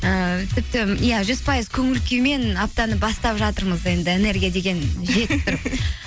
ііі тіпті иә жүз пайыз көңіл күймен аптаны бастап жатырмыз енді энергия деген